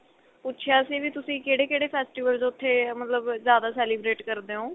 ਪੁੱਛਿਆ ਸੀ ਵੀ ਤੁਸੀਂ ਕਹਿੜੇ ਕਹਿੜੇ festivals ਉੱਥੇ ਮਤਲਬ ਜਿਆਦਾ celebrate ਕਰਦੇ ਓ